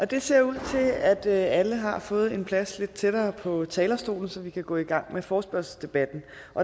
det ser ud til at alle har fået en plads lidt tættere på talerstolen så vi kan gå i gang med forespørgselsdebatten